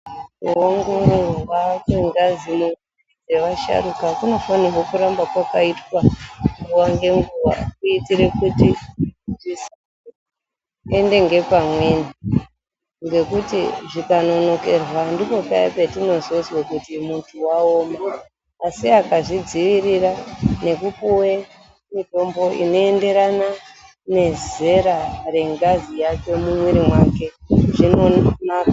Kuongororwa kwengazi yevasharuka kunofanire kuramba kwakaitwa nguwa ngenguwa kuitire kuti zvisaende ngepamweni .Ngekuti, zvikanonokerwa, ndipo paya petinozozwa kuti munhu waoma asi akazvidzivirira ngekupuwe mitombo inoenderana nezera rengazi yake ,mumuiri mwake zvinonaka.